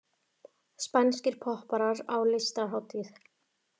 Spænskir popparar á listahátíð